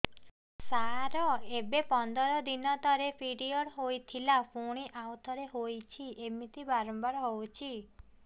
ସାର ଏବେ ପନ୍ଦର ଦିନ ତଳେ ପିରିଅଡ଼ ହୋଇଥିଲା ପୁଣି ଆଉଥରେ ହୋଇଛି ଏମିତି ବାରମ୍ବାର ହଉଛି